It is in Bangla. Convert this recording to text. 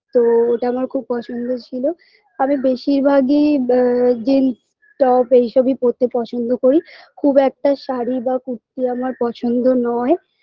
তো ওটা আমার খুব পছন্দ ছিল আমি বেশিরভাগই ব্যা জিন্স top এই সবই পড়তে পছন্দ করি খুব একটা শাড়ি বা কুর্তি আমার পছন্দ নয়